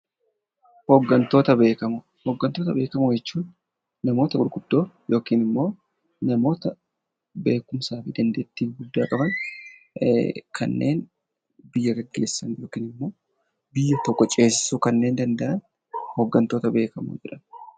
Hoggantoota beekamoo Hoggantoota beekamoo jechuun namoota gurguddoo yookiin immoo beekumsa fi dandeettii gurguddaa qaban kanneen buyya geggeessan yookiin immoo biyya tokko ceesisuu kanneen danda'an 'Hoggantoota beekamoo' jedhamu.